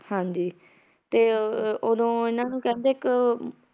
ਹਾਂਜੀ ਤੇ ਅਹ ਉਦੋਂ ਇਹਨਾਂ ਨੂੰ ਕਹਿੰਦੇ ਇੱਕ